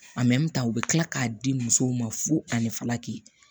u bɛ tila k'a di musow ma fo ani filaki